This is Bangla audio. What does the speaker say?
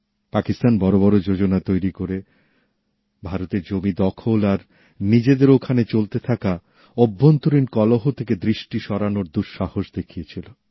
পাকিস্তান বড়বড় পরিকল্পনা তৈরি করে ভারতের জমি দখল আর নিজেদের ওখানে চলতে থাকা অভ্যন্তরীণ কলহ থেকে দৃষ্টি সরানোর দুঃসাহস দেখিয়েছিল